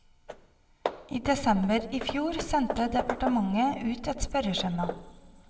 I desember i fjor sendte departementet ut et spørreskjema.